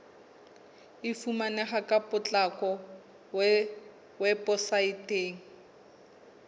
e fumaneha ka potlako weposaeteng